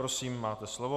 Prosím, máte slovo.